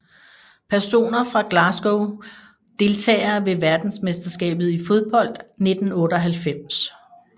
Personer fra Glasgow Deltagere ved verdensmesterskabet i fodbold 1998